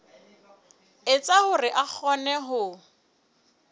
etsa hore a kgone ho